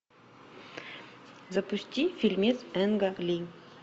запусти фильмец энга ли